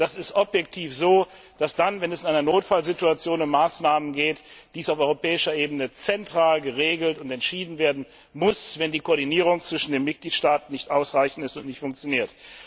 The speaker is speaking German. Es ist objektiv so, dass dann, wenn es in einer Notfallsituation um Maßnahmen geht, diese auf europäischer Ebene zentral geregelt und entschieden werden müssen, wenn die Koordinierung zwischen den Mitgliedstaaten nicht ausreichend ist und nicht funktioniert.